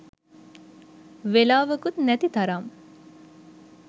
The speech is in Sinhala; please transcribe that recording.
වෙලාවකුත් නැති තරම්.